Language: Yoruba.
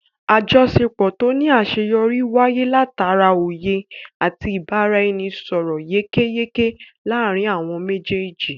Àjọṣepọ̀ tó ní àṣeyọrí wáyé látara oyè àti ibaraẹnisọrọ yékéyéké láàrin àwọn méjèèjì